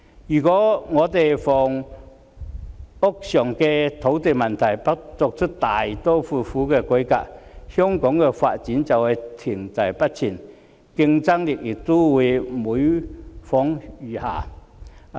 如果香港的房屋土地問題不作出大刀闊斧的改革，香港的發展便會停滯不前，競爭力亦會每況愈下。